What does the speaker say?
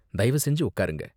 தயவு செஞ்சு உக்காருங்க.